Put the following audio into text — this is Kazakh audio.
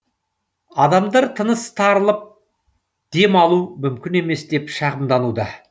адамдар тыныс тарылып дем алу мүмкін емес деп шағымдануда